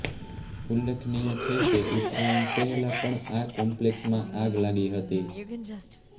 ઉલ્લેખનીય છે કે ઉત્તરાયણ પહેલાં પણ આ કોમ્પલેક્સમાં આગ લાગી હતી